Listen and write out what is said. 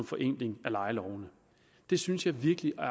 forenkling af lejelovene det synes jeg virkelig er